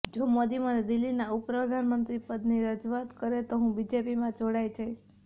જો મોદી મને દિલ્હીના ઉપ પ્રધાનમંત્રી પદની રજૂઆત કરે તો હુ બીજેપીમાં જોડાય જઈશ